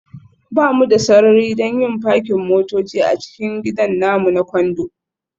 Ba mu da sarari don yin fakin motoci a cikin gidan namu na Condo